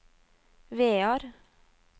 Vear